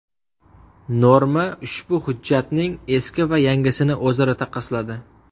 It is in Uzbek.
Norma ushbu hujjatning eski va yangisini o‘zaro taqqosladi .